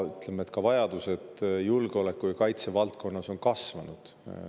Aga vajadused julgeoleku‑ ja kaitsevaldkonnas on samuti kasvanud.